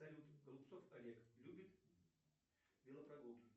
салют голубцов олег любит велопрогулки